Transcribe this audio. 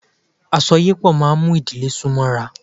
Àsọyépọ̀ máa mú ìdílé sún mọ́ra sí.